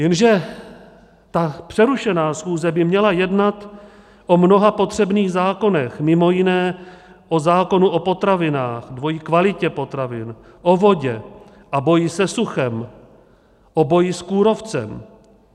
Jenže ta přerušená schůze by měla jednat o mnoha potřebných zákonech, mimo jiné o zákonu o potravinách, dvojí kvalitě potravin, o vodě, o boji se suchem, o boji s kůrovcem.